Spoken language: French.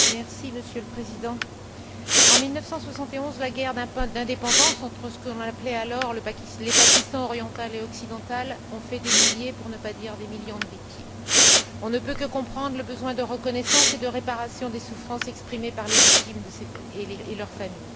Monsieur le Président, en 1971, la guerre d'indépendance entre ce qu'on appelait alors les Pakistan oriental et occidental ont fait des milliers, pour ne pas dire des millions, de victimes. On ne peut que comprendre le besoin de reconnaissance et de réparation des souffrances exprimé par les victimes et leurs familles.